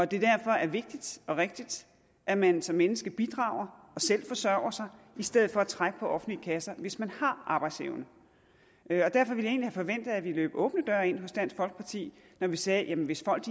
det derfor er vigtigt og rigtigt at man som menneske bidrager og selv forsørger sig i stedet for at trække på offentlige kasser hvis man har arbejdsevne derfor ville jeg forventet at vi løb åbne døre ind hos dansk folkeparti når vi sagde at hvis folk